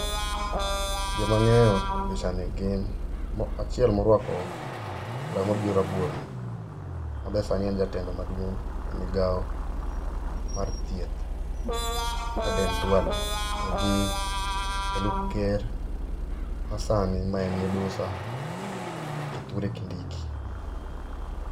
Joma angeyo e pichani gin, achiel morwako law mabiro rabuor ni, mabe sani en jatendwa maduong e migao mar thieth ,Aden Duale togi jalup ker masani ma en Midusa Kithure Kindiki